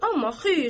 Amma xeyr!